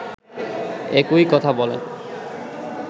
একই কথা বলেন